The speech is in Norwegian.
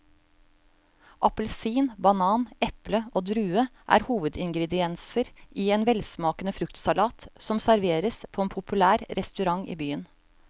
Appelsin, banan, eple og druer er hovedingredienser i en velsmakende fruktsalat som serveres på en populær restaurant i byen.